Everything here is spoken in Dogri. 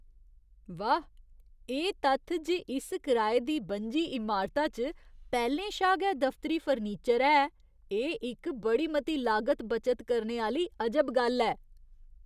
वाह्! एह् तत्थ जे इस कराए दी बनजी इमारता च पैह्‌लें शा गै दफतरी फर्नीचर है, एह् इक बड़ी मती लागत बचत करने आह्‌ली अजब गल्ल ऐ।